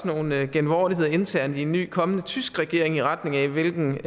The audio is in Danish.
nogle genvordigheder internt i en ny kommende tysk regering i retning af hvilken